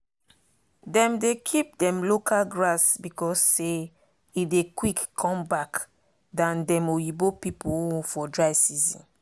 dem dey keep dem local grass because say e dey quick come back than dem oyibo pipu own for dry season.